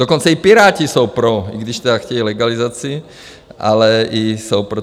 Dokonce i Piráti jsou pro, i když tedy chtějí legalizaci, ale i jsou pro.